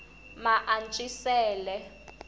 maantswisele